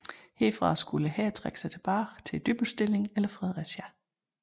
Herfra skulle hæren trækkes tilbage til Dybbølstillingen eller Fredericia